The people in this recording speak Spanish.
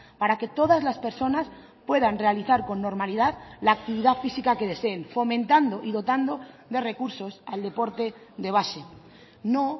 para que todas las personas puedan realizar con normalidad la actividad física que deseen fomentando y dotando de recursos al deporte de base no